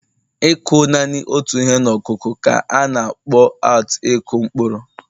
ịkụ naanị otu ihe ọkụkụ ka a na-akpọ out Ịkụ mkpụrụ